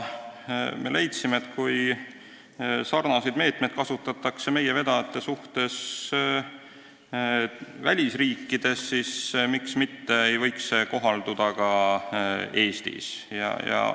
Me leidsime, et kuna sarnaseid meetmeid kasutatakse meie vedajate suhtes välisriikides, siis miks ei võiks need kohalduda ka Eestis.